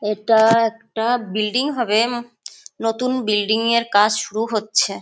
এটা একটা বিল্ডিং হবে নতুন বিল্ডিং -এর কাজ শুরু হচ্ছে-এ।